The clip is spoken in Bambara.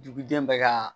Duguden bɛ ka